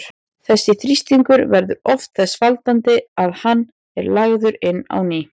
Þessi þrýstingur verður oft þess valdandi að hann er lagður inn á ný.